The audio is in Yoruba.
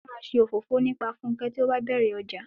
Wọn máa ṣe òfófó nípa Funke tí ó bá bẹ̀rẹ̀ ọjà.